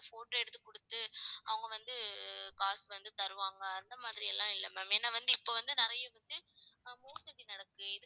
photo எடுத்து கொடுத்து அவங்க வந்து காசு வந்து தருவாங்க அந்த மாதிரி எல்லாம் இல்லை ma'am ஏன்னா வந்து இப்ப வந்து நிறைய வந்து ஆஹ் மோசடி நடக்குது